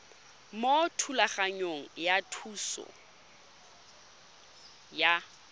mo thulaganyong ya thuso y